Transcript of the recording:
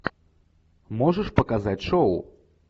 можешь показать шоу